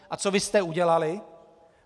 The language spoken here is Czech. A co vy jste udělali?